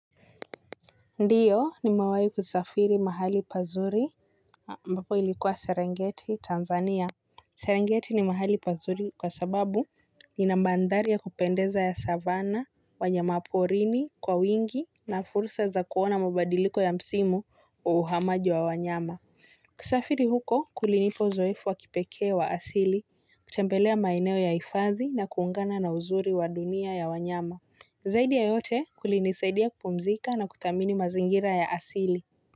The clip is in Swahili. Ndiyo nimewai kusafiri mahali pazuri ambapo ilikuwa Serengeti, Tanzania. Serengeti ni mahali pazuri kwa sababu inamandari ya kupendeza ya savana, wanyama wa porini, kwa wingi na fursa za kuona mabadiliko ya msimu wa uhamaji wa wanyama. Kusafiri huko kulinipa uzoefu wa kipekee wa asili, kutembelea maeneo ya hifadhi na kuungana na uzuri wa dunia ya wanyama. Zaidi ya yote kulinisaidia kupumzika na kuthamini mazingira ya asili.